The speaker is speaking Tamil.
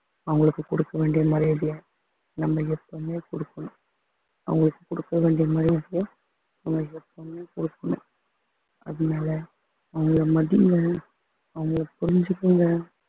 அவங்களுக்கு கொடுக்க வேண்டிய மரியாதைய நம்ம எப்பவுமே கொடுக்கணும் அவங்களுக்கு கொடுக்க வேண்டிய மரியாதைய நம்ம எப்பவுமே கொடுக்கணும் அதனால அவங்களை மதிங்க அவங்களை புரிஞ்சுக்கங்க